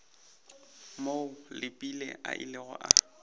moo leepile a ilego a